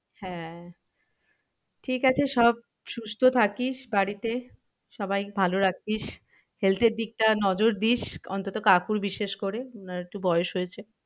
হ্যাঁ ঠিক আছে সব সুস্থ থাকিস বাড়িতে সবাই ভালো রাখবি health এর দিকটা নজর দিস অন্তত কাকুর বিশেষ করে ওনার একটু বয়স হয়েছে।